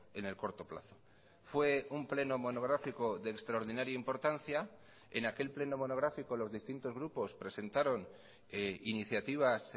en el corto plazo fue un pleno monográfico de extraordinaria importancia en aquel pleno monográfico los distintos grupos presentaron iniciativas